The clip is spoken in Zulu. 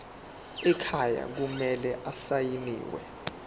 ekhaya kumele asayiniwe